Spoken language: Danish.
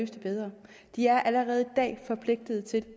det bedre de er allerede i dag forpligtet til